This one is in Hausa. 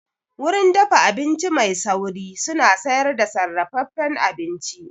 Wurin dafa abinci mai sauri suna sayar da sarrafafen abinci